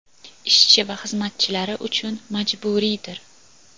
ishchi va xizmatchilari uchun majburiydir.